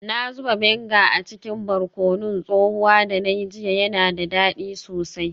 Na zuba vinegar a cikin barkonon tsohuwa da na yi jiya, yana da dadi sosai.